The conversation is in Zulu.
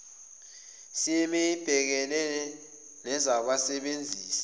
cma ibhekene nabasebenzisi